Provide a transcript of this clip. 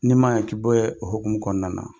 Ni ma ɲa k'i be o hɔkumu kɔnɔna na,